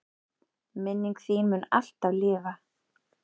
Minning þín mun alltaf lifa.